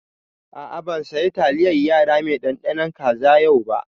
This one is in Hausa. A'a ban saya taliyar yara mai ɗanɗanon kaza yau ba